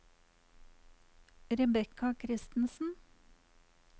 Rebekka Christensen